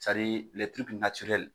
Sadi lɛ tiriki natirɛli